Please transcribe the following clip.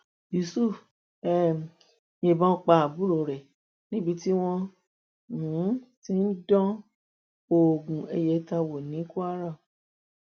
yusuf um yìnbọn pa àbúrò rẹ níbi tí wọn um ti ń dán oògùn ayẹta wò ní kwara